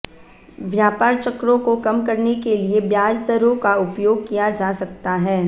व्यापार चक्रों को कम करने के लिए ब्याज दरों का उपयोग किया जा सकता है